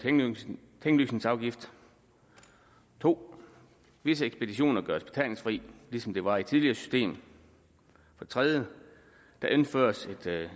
tinglysningsafgift 2 visse ekspeditioner gøres betalingsfri ligesom de var i det tidligere system 3 der indføres